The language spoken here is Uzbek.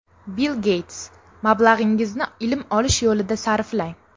Bill Geyts: Mablag‘ingizni ilm olish yo‘lida sarflang.